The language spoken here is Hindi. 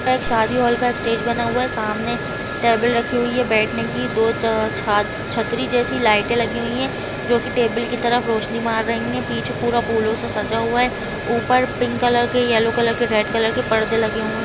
यहाँ एक शादी हॉल का स्टेज बना हुआ है सामने टेबल रखी हुई है बैठने कि दो छतरी जैसे लाइट लगी हुई हैं जो टेबल कि तरफ रोशनी मार रही है पीछे पूरा फूलों से सजा हुआ है ऊपर पिंक कलर के येलो कलर के रेड कलर के परदे लगे हुए है ।